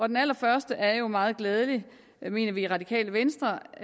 den allerførste er jo meget glædelig mener vi i radikale venstre